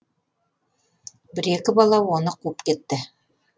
бір екі бала оны қуып кетті